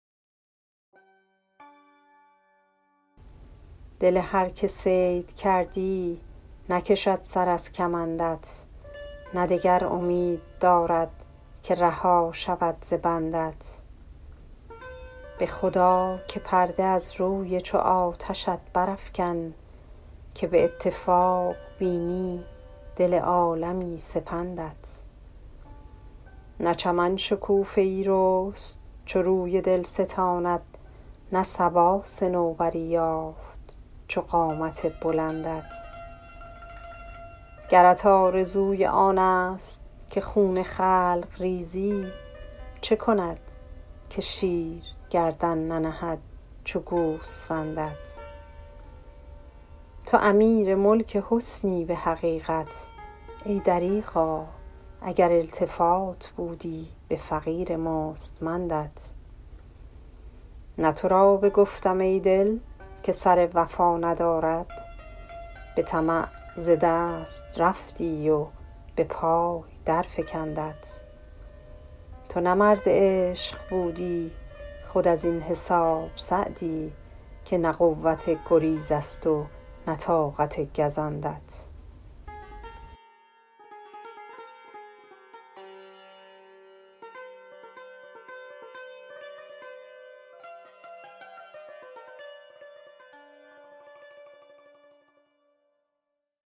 دل هر که صید کردی نکشد سر از کمندت نه دگر امید دارد که رها شود ز بندت به خدا که پرده از روی چو آتشت برافکن که به اتفاق بینی دل عالمی سپندت نه چمن شکوفه ای رست چو روی دلستانت نه صبا صنوبری یافت چو قامت بلندت گرت آرزوی آنست که خون خلق ریزی چه کند که شیر گردن ننهد چو گوسفندت تو امیر ملک حسنی به حقیقت ای دریغا اگر التفات بودی به فقیر مستمندت نه تو را بگفتم ای دل که سر وفا ندارد به طمع ز دست رفتی و به پای درفکندت تو نه مرد عشق بودی خود از این حساب سعدی که نه قوت گریزست و نه طاقت گزندت